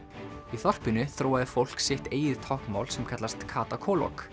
í þorpinu þróaði fólk sitt eigið táknmál sem kallast Kata